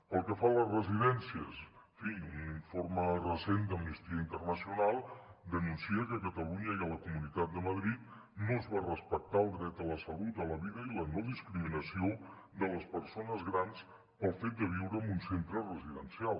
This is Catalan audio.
pel que fa a les residències en fi un informe recent d’amnistia internacional denuncia que a catalunya i a la comunitat de madrid no es va respectar el dret a la salut a la vida i a la no discriminació de les persones grans pel fet de viure en un centre residencial